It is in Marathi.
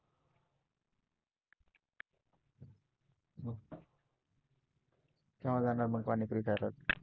केव्हा जाणार मग पाणीपुरी खायला?